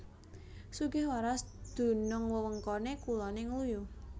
Sugihwaras dunung wewengkone kulone Ngluyu